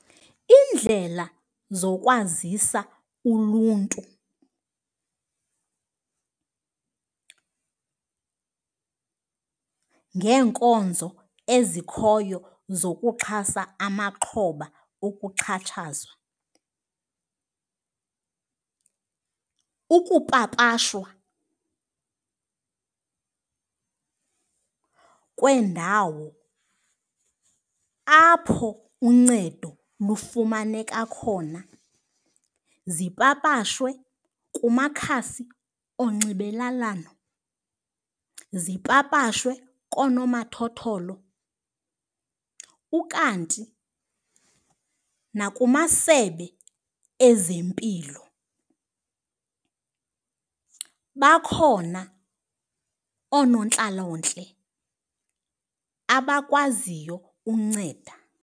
Iindlela zokwazisa uluntu ngeenkonzo ezikhoyo zokuxhasa amaxhoba okuxhatshazwa, ukupapashwa kweendawo apho uncedo lufumaneka khona, zipapashwe kumakhasi onxibelelwano, zipapashwe koonomathotholo. Ukanti nakumasebe ezempilo bakhona oonontlalontle abakwaziyo unceda.